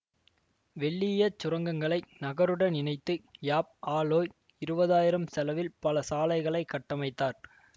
வெள்ளீயச் சுரங்கங்களை நகருடன் இணைத்து யாப் ஆ லோய் இருவதாயிரம் செலவில் பல சாலைகளை கட்டமைத்தார்